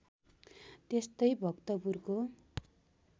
त्यस्तै भक्तपुरको